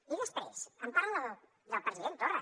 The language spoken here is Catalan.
i després em parla del president torra